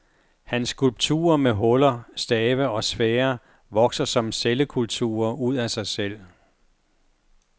Hans skulpturer med huller, stave og sfærer vokser som cellekulturer ud af sig selv.